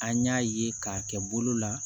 An y'a ye k'a kɛ bolo la